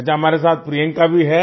अच्छा हमारे साथ प्रियंका भी है